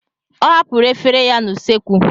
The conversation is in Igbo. Ọ hapụrụ efere ya n'usekwu.